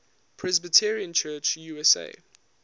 presbyterian church usa